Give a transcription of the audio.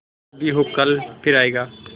जो भी हो कल फिर आएगा